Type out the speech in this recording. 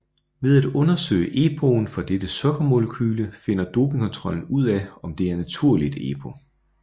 Ved at undersøge EPOen for dette sukkermolekyle finder dopingkontrollen ud af om det er naturligt EPO